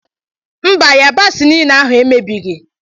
Mba yabasi niile ahụ emebighi